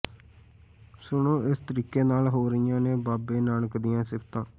ਸੁਣੋ ਇਸ ਤਰੀਕੇ ਨਾਲ ਹੋ ਰਹੀਆਂ ਨੇ ਬਾਬੇ ਨਾਨਕ ਦੀਆਂ ਸਿਫਤਾਂ